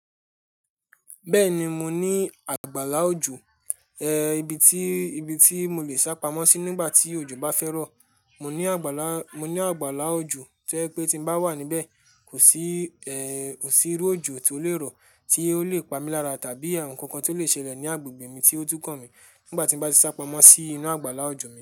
Bẹ́ẹ̀ ni, mo ní àgbàlá òjò, eh, ibi tí, ibi tí mo lè sá pamọ́ sí nígbà tí òjò bá fẹ́ rọ̀. Mo ní àgbàlá, mo ní àgbàlá òjò to jẹ pé tí mo bá wà níbẹ̀, kò sí, ẹ́, kò sí irú òjò tí ó lè rọ̀ tí ó lè pa mí lára tàbí ohun kankan tí ó lè ṣẹlẹ̀ ní agbègbè mi tí ó tún kan mí nígbà tí mo bá ti sá pamọ́ sí inú àgbàlá òjò mi.